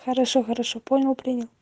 хорошо хорошо понял принял